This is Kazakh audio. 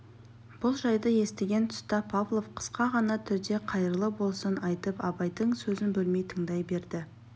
бұл жайды естіген тұста павлов қысқа ғана түрде қайырлы болсын айтып абайдың сөзін бөлмей тыңдай берді